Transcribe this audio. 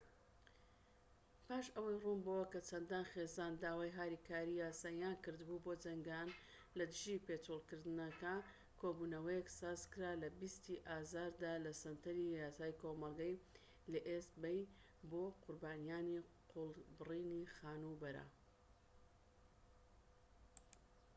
پاش ئەوەی ڕوون بۆوە کە چەندان خێزان داوای هاریکاریی یاساییان کردبوو بۆ جەنگان لە دژی پێچۆڵکردنەکە، کۆبوونەوەیەک سازکرا لە ٢٠ ی ئازاردا لە سەنتەری یاسای کۆمەڵگە لە ئیست بەی بۆ قوربانیانی قۆڵبرینی خانوبەرەکە